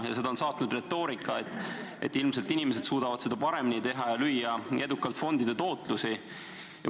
Ja seda on saatnud retoorika, et ilmselt inimesed suudavad seda paremini teha ja edukalt fondide tootlusi lüüa.